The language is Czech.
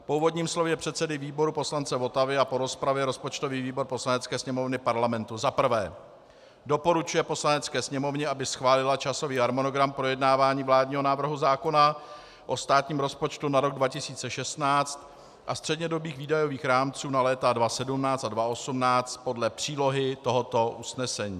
Po úvodním slově předsedy výboru poslance Votavy a po rozpravě rozpočtový výbor Poslanecké sněmovny Parlamentu za prvé doporučuje Poslanecké sněmovně, aby schválila časový harmonogram projednávání vládního návrhu zákona o státním rozpočtu na rok 2016 a střednědobých výdajových rámců na léta 2017 a 2018 podle přílohy tohoto usnesení;